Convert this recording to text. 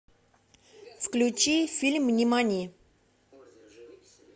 включи фильм нимани